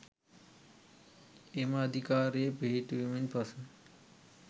එම අධිකාරිය පිහිටුවීමෙන් පසු